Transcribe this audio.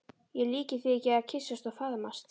Ég líki því ekki við að kyssast og faðmast.